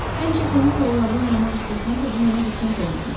Həmişə komik rollarda oynamaq istəsəm də bu mənə qismət olmamışdı.